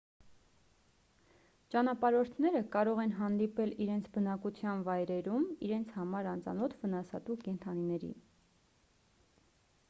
ճանապարհորդները կարող են հանդիպել իրենց բնակության վայրերում իրենց համար անծանոթ վնասատու կենդանիների